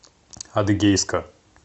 адыгейска